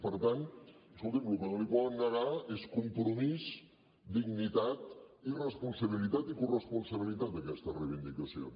per tant escoltin el que no els poden negar és compromís dignitat i responsabilitat i corresponsabilitat a aquestes reivindicacions